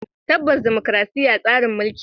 Tabbas dimokuradiyya tsarin mulki ne.